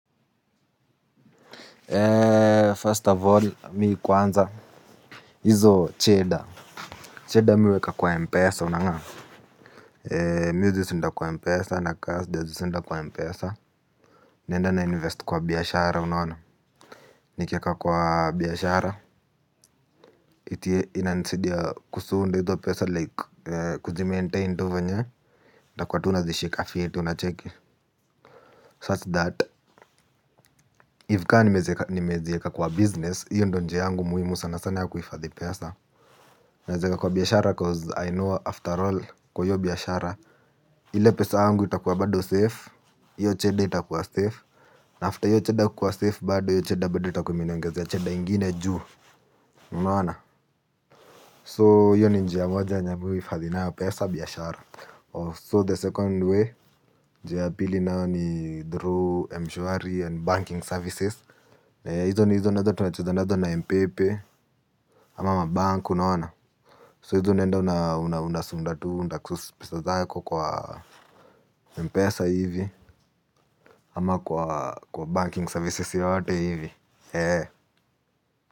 Ee first of all mimi kwanza hizo cheda cheda mimi huweka kwa mpesa unang'am ee mimi huzisunda kwa mpesa na kama sijazisunda kwa mpesa naenda na invest kwa biashara unaona nikiweka kwa biashara inanisaidia kusunda hizo pesa like kujimaintain tu vyenye nitakuwa tu nazishika fiti unacheki such that if kama nimeziweka kwa business hiyo ndiyo njia yangu muhimu sana sana ya kuhifadhi pesa. Naziweka kwa biashara cause I know after all kwa hiyo biashara. Ile pesa yangu itakuwa bado safe hiyo cheda itakuwa safe. Na after hiyo cheda kuwa safe bado hiyo cheda bado itakuwa imeniongezea cheda ingine juu. Unaona? So hiyo ni njia moja yenye mimi huhifadhi nayo pesa biashara So the second way njia pili nayo ni through, mshwari and banking services. Na hizo nazo tunacheza nazo na M-PePe. Ama bank unaona So hizo unaenda unasunda tu pesa zako kwa mpesa hivi. Ama kwa banking services yoyote hivi.